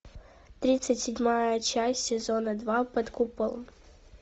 тридцать седьмая часть сезона два под куполом